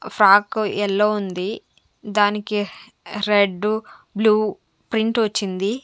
Frock yellow ఉంది దానికి red blue print వచ్చింది.